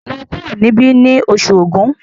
lọ kuro nibi ní Oṣù Ògún!